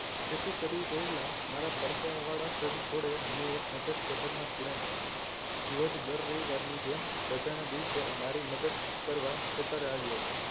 ખેતી કરી રહેલા મારા પરસેવા વાળા શરીર જોડે મેં એક નજર કહેતાં ના ખૂણે નાખી જ્યોર્જ દર રવિવારની જેમ રજાના દિવસે મારી મદદ કરવા ખેતરે આવ્યો હતો